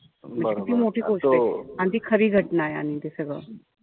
किती मोठी गोष्टय. अन ती खरी घटनाय आणि ते सगळं.